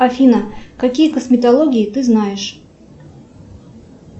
афина какие косметологии ты знаешь